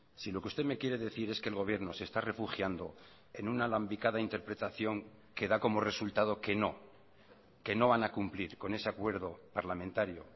si lo que usted me quiere decir es que el gobierno se está refugiando en una alambicada interpretación que da como resultado que no que no van a cumplir con ese acuerdo parlamentario